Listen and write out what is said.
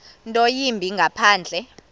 nto yimbi ngaphandle